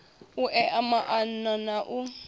u ea maana na u